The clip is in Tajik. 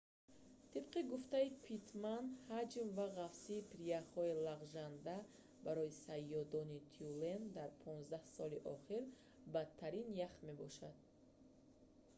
тибқи гуфтаи питтман ҳаҷм ва ғафсии прияхҳои лағжанда барои саёедони тюлен дар 15 соли охир бадтарин ях мебошад